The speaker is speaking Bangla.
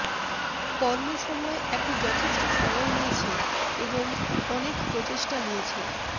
কর্ম সময় একটি যথেষ্ট সময় নিয়েছে এবং অনেক প্রচেষ্টা নিয়েছে